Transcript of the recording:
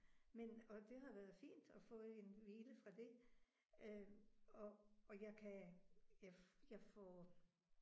Men og det har været fint at få en hvile fra det øh og og jeg kan jeg jeg får